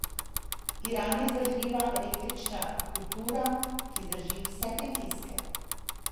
Iran je vzdržljiva eklektična kultura, ki zdrži vse pritiske.